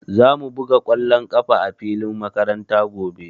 Za mu buga ƙwallon ƙafa a filin makaranta gobe.